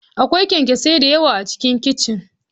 Akwai kyanksosai da yawa A cikin kicin.